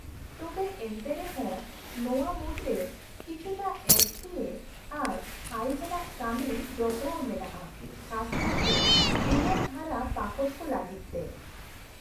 -ᱛᱚᱵᱮ ᱮᱱᱛᱮ ᱨᱮᱦᱚᱸ ᱱᱚᱶᱟ ᱢᱩᱫᱨᱮ ᱠᱤᱪᱷᱩᱴᱟᱜ ᱮᱠᱜᱷᱮᱭᱮ ᱟᱨ ᱟᱹᱲᱤᱥᱟᱱᱟᱜ ᱠᱟᱹᱢᱤ ᱡᱚᱯᱲᱟᱣ ᱢᱮᱱᱟᱜᱼᱟ, ᱠᱷᱟᱥ ᱠᱟᱨᱛᱮ ᱡᱩᱣᱟᱹᱱ ᱦᱟᱨᱟ ᱯᱟᱠᱚᱴ ᱠᱚ ᱞᱟᱹᱜᱤᱫ ᱛᱮ ᱾